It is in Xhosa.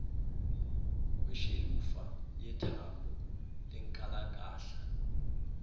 kweshelufa yethambo lenkalakahla